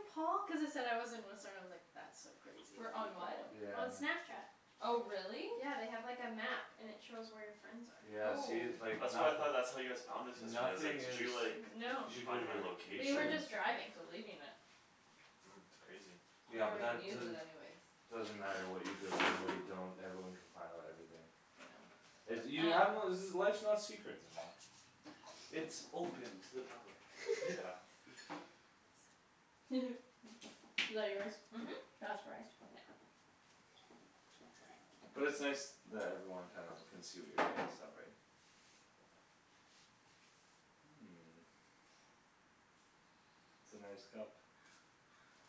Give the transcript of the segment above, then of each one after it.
Paul?" cuz it said I was in Whistler, I was like "That's so crazy that Wher- you can on what? Yeah, know" I on know. Snapchat. Oh, really? Yeah, they have, like, a map and it shows where your friends Yeah, are. see, Oh. like That's what I nothi- thought, that's how you guys found us yesterday. I was like, Nothing "Did is you like No, Find my we were location?" just driving. Deleting it. Mm. It's crazy. You Yeah, don't but that even use it doesn't anyways. Doesn't matter what you delete and what you don't. Everyone can find out everything. I know. You have to Um know life's not secret anymore. It's open to the public. Yeah. Is that yours? Mhm. Yeah. Not surprised. But it's nice that everyone kinda can see what you're doing and stuff, right? It's a nice cup.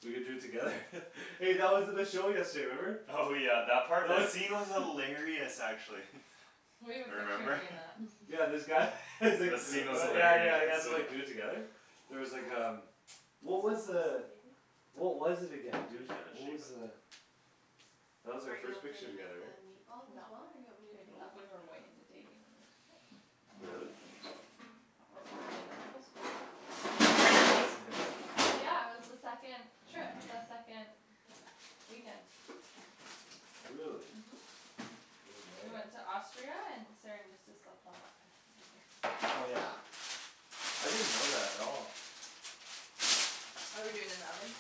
We could do it together. Hey, that was at the show yesterday, remember? Oh, yeah, that part? That scene was hilarious, actually. We have a picture Remember? doing that. Yeah, this guy he's like, The scene was uh yeah, yeah, he has hilarious. to, like, do it together. There was like um, what was Who's the that baby? What was it again, Dude, dude, you gotta what was shape it. the That was our Are you first okay picture to make together, that right? meatball as No. well? Or do you want me to Baby, No, take tha- I over we can were for do way that. you? into dating when we took it. Really? That was like the end of bible school. Yeah, that's in there Yeah, it was the second Trip, the second weekend. Really? Mhm. I didn't know We that. went to Austria and Saran used to slept on that bed together. Oh, yeah? I didn't know that at all. Are we doing in the oven?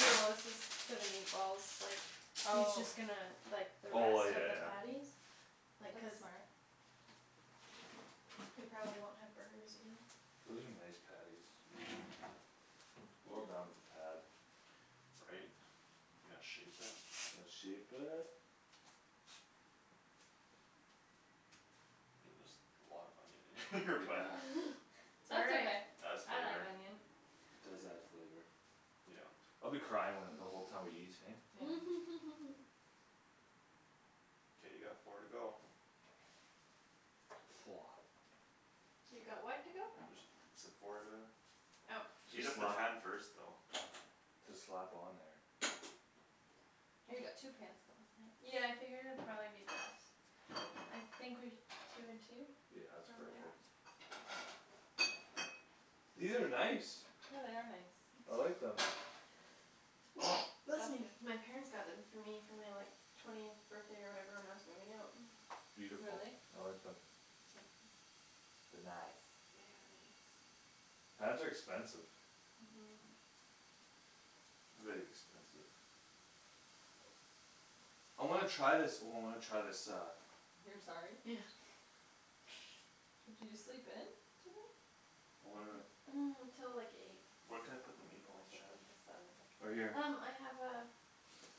No, that's just for the meatballs, like He's Oh. just gonna, like, the Oh I, rest yeah, of the yeah. patties. Like, That's cuz smart. We probably won't have burgers again. Those are nice patties. Well Yeah. done with the pad. Right? You gotta shape it. Let's shape it. I mean there's a lot of onion in here but Yeah. It's all That's right. okay, Adds I like flavor. onion. It does add flavor. Yeah. I'll be crying when, the whole time we eat, hey? Yeah. K, you got four to go. Woah. You got what to go? Just said four to Oh. Heat Just up the slap pan first though. Just slap on there. Oh, you got two pans going, nice. Yeah, I figured it'd probably be best. I think we, two and two? Yeah, it's Yeah. Probably. perfect. These are nice. Yeah, they are nice. I like them. Bless Bless me! you. My parents got them for me for my, like Twentieth birthday or whatever when I was moving out. Beautiful, Really? I like them. They nice. They are nice. Pans are expensive. Mhm Very expensive. I wanna try this, oh, I wanna try this uh You're sorry? Yeah. Did you sleep in? Today? I wanna Till like eight. Where can I Oh, put the I meatballs, slept Shan? in till seven. Right here Um I have a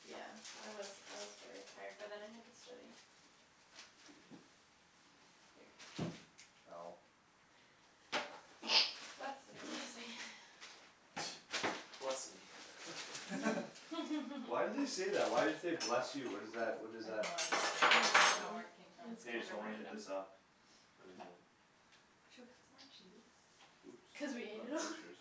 Yeah, I was, I was very tired but then I had to study. Ow Bless Bless you. me, yeah. Bless me. Why do they say that? Why do you say "Bless you"? What is that? What is I have that? no idea. I don't really I don't know where know. it came from. It's Hey, kinda so wanna hit random. this up. What is it? Should we cut some more cheese? Oops, Cuz we ate it not all butchers.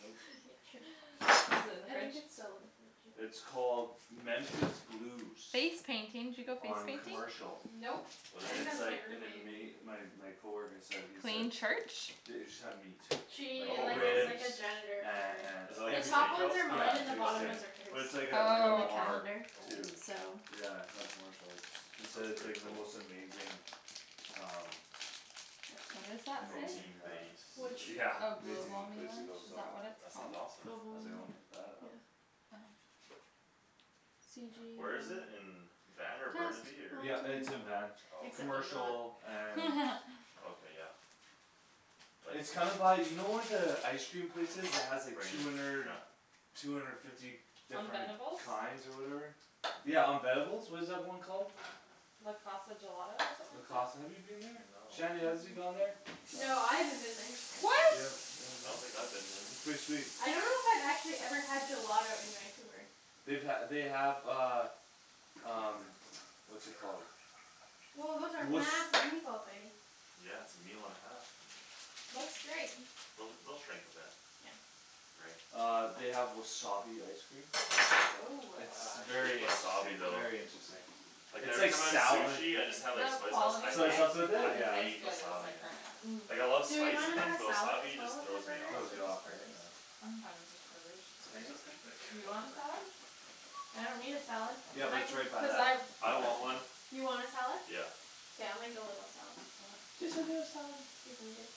Nope. Is it in the I think fridge? it's still in the fridge, yeah. It's called Memphis Blues. Face painting. Did you go face On painting? Memphis Blues. Commercial. Nope, What I is And think that it's it? was my like an roommate. ama- my. my coworker said. he said Plain church? The- it just have meat. Like She, Oh, like, is really? like ribs a janitor and, for Is it and like The a everything. top ones steakhouse are kinda Yeah, mine and it's thing? the like a bottom Okay. steakh- ones are hers. But it's like a, like a And Oh, the okay. bar calendar too Oh. so Yeah, it's on Commercial. It's, he That said sounds it's pretty like the cool. most amazing Um That's What does mine. that say? Amazing Protein uh base. Which? yeah, Oh, amazing Globalme place to lunch? go, Is so. that what it's That sounds called? awesome. I was like, "I Globalme, wanna hit that up." yeah C Where is G it? In um Van or Test. Burnaby or Wrong Yeah, turn. it's in Van. Oh, okay Except I'm not. Commercial and Okay, yeah. Like It's kinda by, you know where the ice cream place is that has like Rain two or hundred Shi- Two hundred fifty On different Venebles? kinds or whatever? Yeah, on Venebles? What is that one called? Le Casa Gelato or Le something like that? Casa, have you been there? No. Shanny, has you gone there? No. No, I haven't been there. I don't think What? so. Yep, oh, I no? don't think I've been It's there. pretty sweet. I don't know if I've actually had gelato in Vancouver. They've ha- they have uh Um what's it called Woah, those are massive meatballs, baby. Yeah, it's a meal and a half. Looks great. Those, they'll shrink a bit. Yeah Right. Uh they have wasabi ice cream. Woah. It's Ah, I hate very wasabi interesting, though. very interesting. Like It's every like time I have sou- like sushi I just Okay. have, like, The soy sauce. I quality of Soy hate, ice sauce with cream though I it? Yeah. isn't as hate good as, wasabi, like, man. Earnest. Mm. Like, I love Do we spicy wanna have things a but salad as wasabi well just with our throws me burgers? off. Throws Or you off, just right? burgers? Yeah. I'm fine with just burgers. Just These are burgers? K. pretty big. Do you want a Whatever. salad? I don't need a salad, Yeah, but I it's mean right by cuz that I ice I want cream place. one. You want a salad? Yeah. K, I'll make a little salad. Okay. Listen to the salad. Excuse me, babe.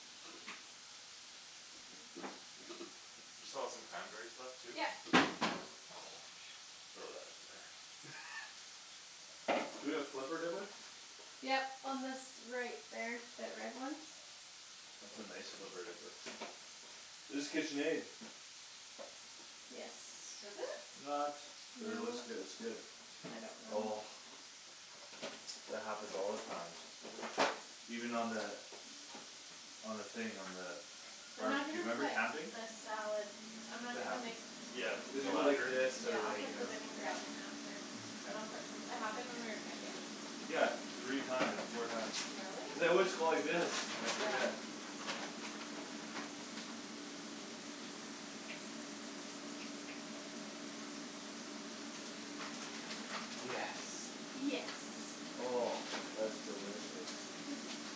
You still have some cranberries left too? Yep Throw that in there. We gonna flipper dipper? Yep, on this, right there, that red one. That's a nice flipper dipper. It's Kitchenaid. Yes. Is it? Not, but it No, looks good, it's good. I don't Oh know. That happens all the time. Even on the On the thing, on the I'm not Barbecue, gonna remember put camping? the salad I'm not It gonna make happens. Yeah, You with Cuz the you put go like lacquer? this, this yeah, to, I'll I mean. like, put you the know Yeah. vinaigrette in after. K. And I'll put some It of the happened when we were cranberries camping? in. Yeah, three times, four times. Really? Cuz I always go like this, I Yeah. forget. Yes. Yes. Oh, that's delicious.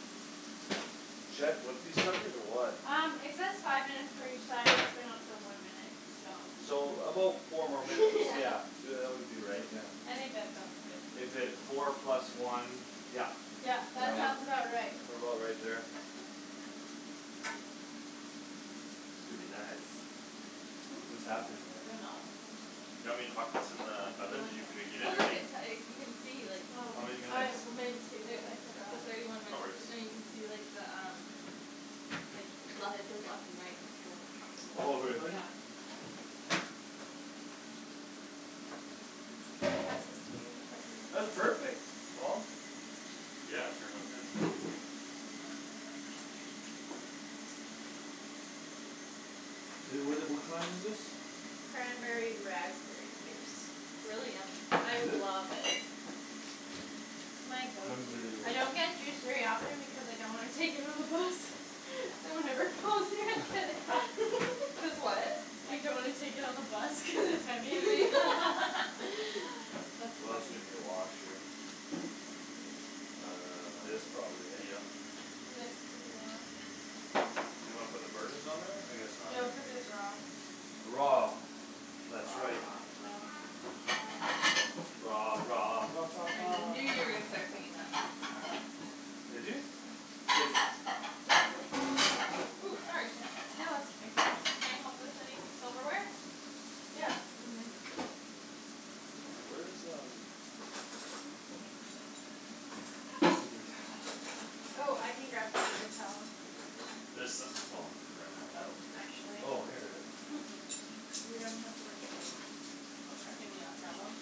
Should I flip these suckers or what? Um it says five minutes for each side and it's been on for one minute, so. So about four more minutes, Yeah yeah. Y- uh that would be right, yeah. I think that sounds good. If it, four plus one, yeah. Yep, Yeah, that well, sounds Yep. about right. what about right there? Could be nice. Hmm? What's happening I don't there? know. Do you want me to huck this in the Maybe oven? one Did you minute. preheat Oh it look already? it uh you can see like Oh. How many I minutes? w- meant to but It, I it's forgot. at thirty one No minutes. worries. No, you can see the um Like le- it says left and right; it's going up Oh and down, really? yeah. I'ma pass this to you to put in That's the perfect, Paul. Yeah, it turned out good. I- Would it, what kind is this? Cranberry raspberry juice. It's really yummy. I Is it? love it. My go to. Cranberry I don't get juice very often because I don't wanna take it on the bus So whenever Paul's here I get it. Cuz what? I don't wanna take it on the bus cuz it's heavy Heavy. That's We also funny. need a wash here. This probably, Uh hey? yep. This could be washed. You wanna put the burgers on there? I guess not, No, eh? cuz it's raw. Raw, that's right. Raw Raw I knew you were gonna start singing that. Did you? Cuz Ooh, sorry, Shan. No, that's okay. Can I help with anythi- silverware? Yeah, in men. Where's um Paper towel? Oh, I can grab some paper towel. There so- oh, ran out? Oh, actually. Oh, here we are. We don't have much. I'll grab you Can you not grab 'em?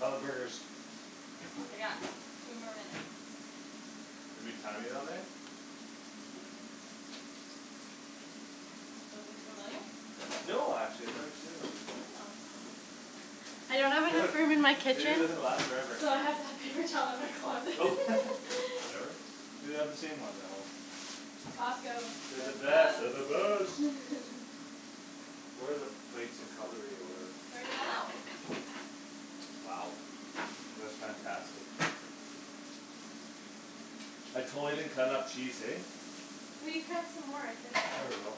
How're the burgers? They got two more minutes. We've been timing on there? Mhm. Those look familiar? No, actually I've never seen those before. Yeah, hmm, interesting. I don't have enough room in my They kitchen usually last forever. So I have to have paper towel in my closet. Whatever. We have the same ones at home. Costco. They're the They're the best, they're best. the best. Where are the plates and cutlery or whatever? It's already all out. Wow. That's fantastic. I totally didn't cut enough cheese, hey? We cut some more, I think. There we go.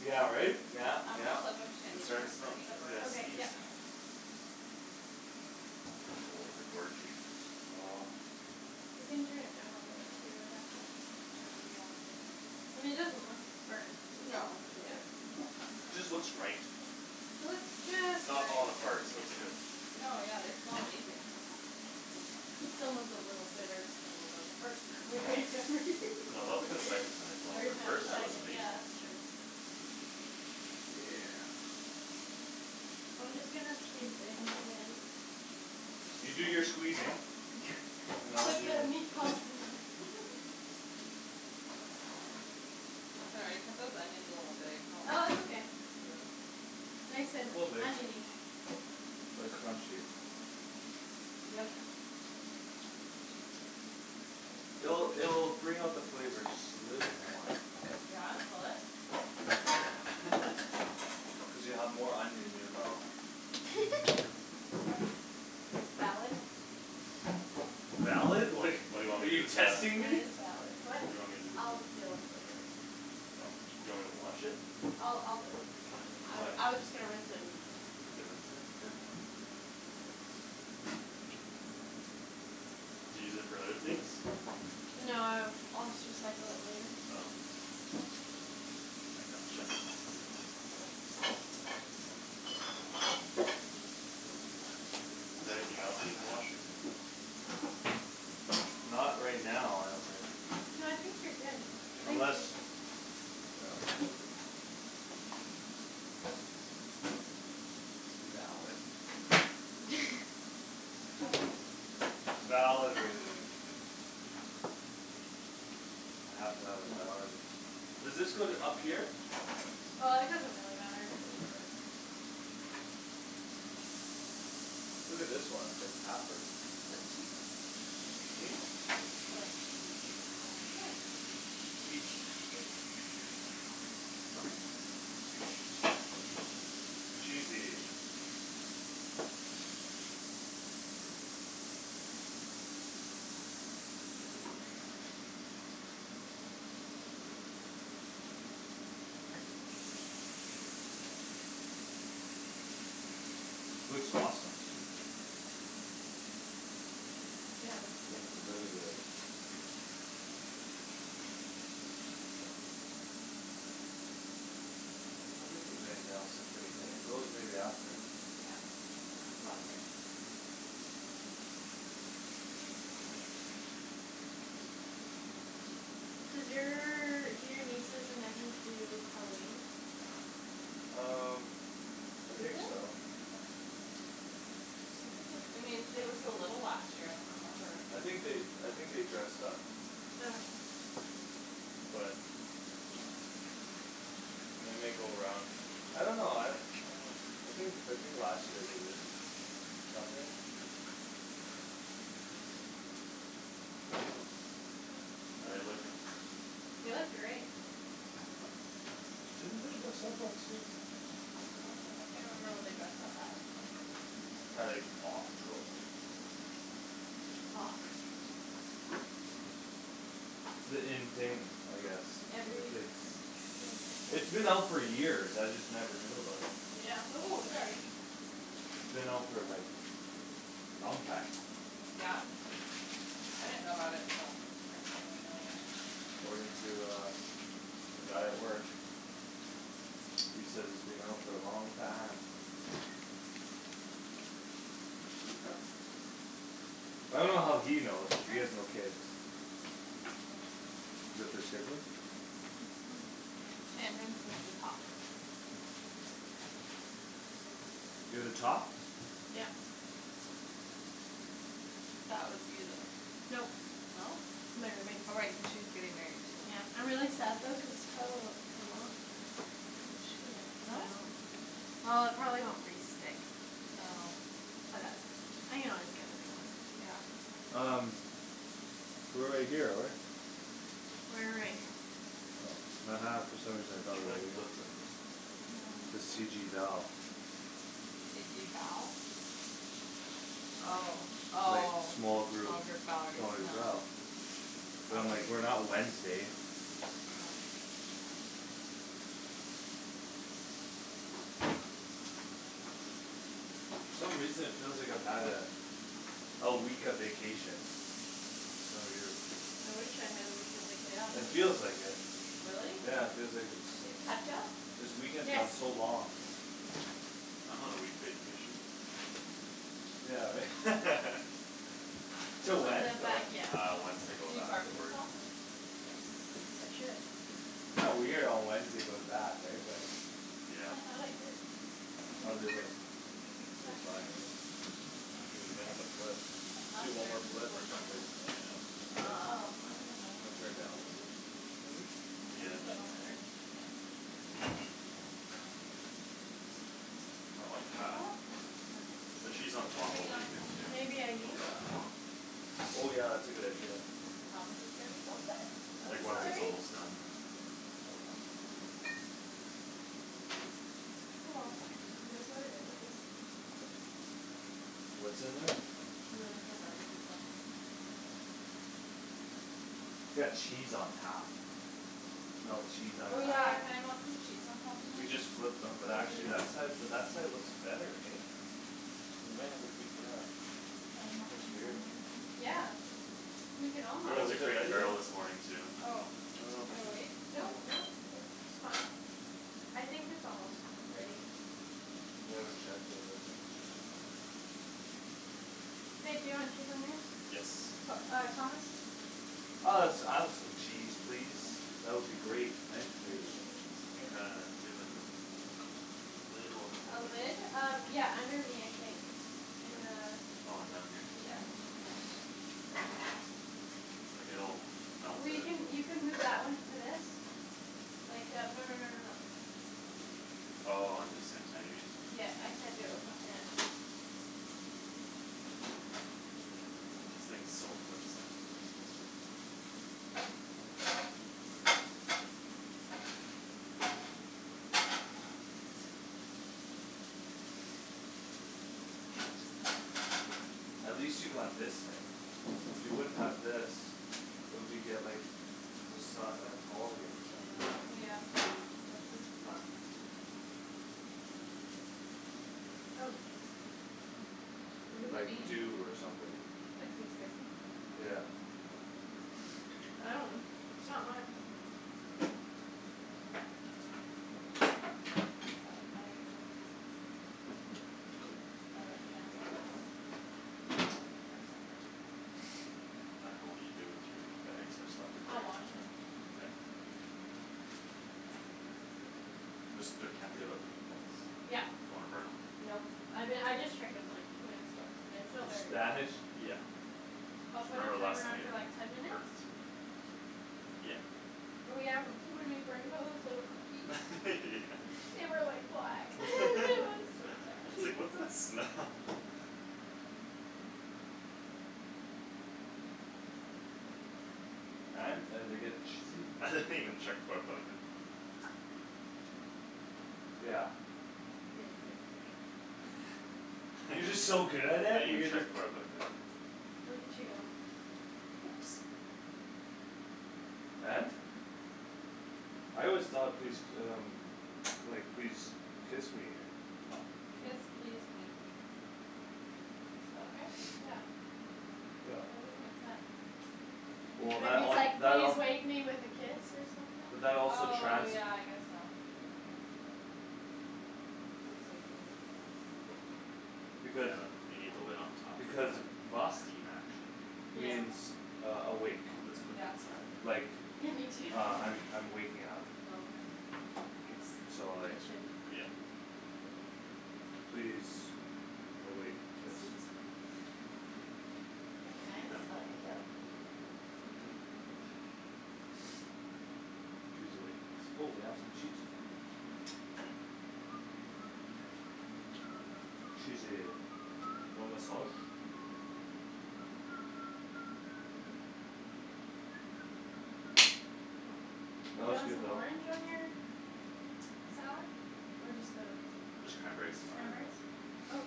Yeah, right? Yeah, I'm gonna yeah. flip 'em, Shandy, It's cuz starting they're to smell starting to burn. I gotta Okay, yep. sneeze. Oh, they're gorgey. You can turn it down a little bit too, would that help? Maybe, yeah. I mean it doesn't look burnt. No, but they're Yeah Just looks right. It looks It's just not right. falling apart, so it's good. No, yeah, they smell amazing. Someone's a little bitter still about the first time we made them. No, that was, like, the second time it fell apart. First time it First was time Everytime was amazing. Yeah amazing. that's true. Yeah. I'm just gonna squeeze in and You do your squeezing and I'll Put do the meatballs in the Sorry, I cut those onions a little big, huh. Oh it's okay. Yeah. Nice and Little big. onion-y Like crunchy. Yum, yum. It'll, it'll bring out the flavor just a little more. Yeah? Will it? I think it's full. Cuz you have more onion in your mouth. Valid. Valid? Wait, Like, what do you want are me to do you with that? testing That me? is valid. What? What do you want me to do with I'll that? deal with it later. Oh, do you want me to wash it? I'll, I'll deal with it. That's fine. Why? I, I was just gonna rinse it and then I can rinse it. Okay Do you use it for other things? No, uh I'll just recycle it later. Oh. I gotcha. Is there anything else needs washing? Not right now, I don't think. No, I think you're good. K. Thank Unless you. Yeah. Valid. Valid reason. I have to have a valid Does this go th- up here? Uh it doesn't really matter. Look at this one, it's like halfer Put cheese on. Hmm? It's for, like, cheese and stuff. Yeah. Eat. Eat Cheesy. Looks awesome. Yeah, it looks good. Looks very good. I don't think there's anything else to clean, eh? Those maybe after Yeah, it's all good. Does your, do your nieces and nephews do Halloween? Um I Do they? think so. I thought they, I mean, they were so little last year; I don't remember. I think they, I think they dressed up. But And they might go around. I don't know, I Uh I think, I think last year they did it. Something How're they looking? It was great. Didn't they dress up last year? I don't remember. I can't remember what they dressed up as. Probably like Paw Patrol or something. It's the in thing, I guess, with the Every kids. It was just It's like been out for years; I just never knew about it. Yeah Ooh, sorry. It's been out for, like, long time. Yeah? I didn't know about it till Kristen and Marianne. According to, uh, the guy at work. He says it's been out for a long time. I dunno how he knows, cuz Sure. he has no kids. Is that their schedule? Mhm. Shandryn's is the top. You're the top? Yep. That was you though. Nope, No? my roommate. Oh, right, cuz she's getting married too. Yeah, I'm really sad though cuz this probably won't come off. She'll No? well. It probably won't re-stick. Oh. But that's okay. I can always get a new one. Yeah. Um we're right here though, right? We're right here. Oh ha ha, for some reason I thought we Should I were here. flip them in? This K. C G Val. C G Val? Oh, Like oh, small small group, group Valerie, small group Val. no. But I'm like, Might "We're be. not Wednesday." For some reason it feels like I've had a A week of vacation. Kinda weird. I wish I had a week of Yeah, me It vacation. too. feels like it. Really? Yeah, it feels like a Do you have ketchup? This weekend's Yes. gone so long. I'm on a week vacation. Yeah, right? This Till In one? when? the Till back, when? yeah. Uh, Wednesday go Do you back to barbecue work. sauce? Wednesday. Yes, I should. Kinda weird on Wednesday go to back, right? But Yeah. I thought I did. Maybe. How'd they look? Maybe it's They look back fine, there? right? Oh, we may I have to see. flip. Do one more Mustard, do the flip or boys like something. mustard? Eh? Oh, here's You another wanna try to ketchup. download this, maybe? Which Yeah. Yeah. one's newer? Doesn't matter. Uh Not looking I bad. thought I had some The barbecue cheese on sauce. top will be Teriyaki good too. Maybe I It'll Yeah. melt used it it. all. Oh yeah, that's a good idea. Thomas is gonna be so upset. I'm Like once Just it's sorry. kidding. almost done. Oh well. Oh, well. It is what it is, I guess. What's in there? We were looking for barbecue sauce. Got cheese on top. Melt cheese on Oh, Oh, top. yeah, yeah. can I melt some cheese on top of We mine? just flipped them. Oh But we actually that did. side, but that side looks better, hey? We might have to keep, yeah. Can I melt That's cheese weird. on Um mine? yeah, we can all We Well, went to is it Crate and ready yet? Barrel this morning too. Oh, I dunno if we should I should, wait? I Nope, dunno nope, it's fine. I think it's almost ready. We haven't checked it but I think it should be fine. Babe, do you want cheese on yours? Yes. P- uh Thomas? Uh let's add some cheese, please. That would be great, thank Some you. cheese, We kinda, please. do you have like those Lid will A help it. lid? Um, yeah, under me I think. In Un- oh, in down here? the, yeah. Like, it'll melt We it. can, you can move that one to this. Like, yeah, no no no no no. Oh, um the same time, you mean? Yeah, I can't do it with one hand. This thing's so flimsy. That's good. At least you got this thing. If you wouldn't have this It'll be get, like, just not that tall here, you know? Yeah. Yeah. This is fucked. What does it Like mean? dew or something. Like, please kiss me? Yeah. I dunno, it's not mine. I think it says please kiss me. Or like, can I have a kiss? Or something like that. I didn't know what you I dunno. do with your bags. I just left it I'll there. wash it. Okay. Just the, can't be without the meatballs. Yup. Don't wanna burn 'em. Nope, I be- I just checked them, like, two minutes ago. They're still very raw. Spanish? Yeah. I'll put a Remember last timer time on for, like, ten it minutes? burnt. Yeah. Oh, yeah, m- when we burned those little cookies Yeah. They were like black; it was so sad. It's like, "What's that smell?" And? Are they getting cheated? I didn't even check before I put it in. Yeah. Yeah, you're good. I You're didn't just so good at it, you even could, check like before I put 'em in. Look at you go. Oops. And? I always thought please d- um Like, "Please kiss me." Kiss, please, wake. Did spell it right? Yeah. Yeah. That doesn't make sense. Well, It Maybe that would say it's all, like, that "Please all wake me with a kiss" or But something? that also Oh, trans- yeah, I guess so. Like, please wake me with a kiss? Because Yeah, you need the lid on top That makes sense. for Because that steam action. Yeah. means uh awake I hope it's cooked Yeah. inside. Like, Yeah, me too. uh I'm, I'm waking up. Okay. Oops. So It like should be fine. Yep. Please awake kiss Guess it's good. That'd be nice. Huh? I love you. Imperfect. Please awake kiss. Oh we got some cheese here. Cheesy. You want my sauce? That You was want good some though. orange on your salad? Or just the, just Just cranberries is fine. cranberries? Oh,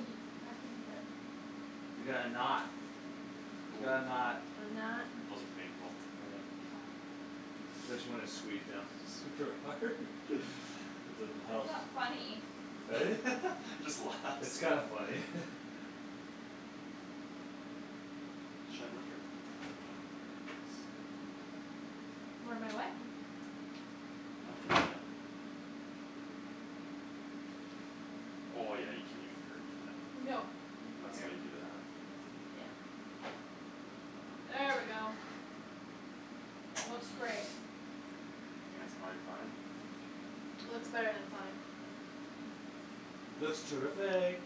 I can do that. We got a knot. We got a knot. A I'm not knot. Wasn't painful. Yeah. Said she wanted to squeeze down. Super hard? It doesn't Why help. is that funny? Eh? Just It's laughs. kinda funny. Where my what? I've been hit. Oh, yeah, you can even girth that. No, That's here, why you do that. yeah. There we go. Looks great. I think that's prolly fine. Looks better than fine. Looks terrific.